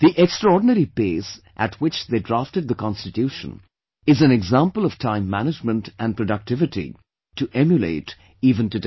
The extraordinary pace at which they drafted the Constitution is an example of Time Management and productivity to emulate even today